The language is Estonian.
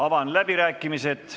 Avan läbirääkimised.